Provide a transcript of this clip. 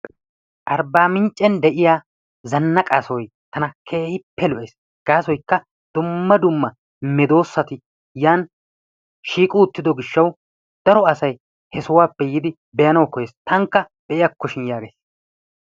Arbbaminccen de'iya zanaqqa sohoy tana keehippe lo'ees. Gaassoykka dumma dumma medoosati yan shiiqqi uttiddo gishshawu daro asay he sohuwaappe yiidi be'anawu koyees taakka beiyakkoshin yagays.